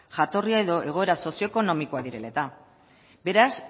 jatorria edo egoera sozioekonomikoa direla eta beraz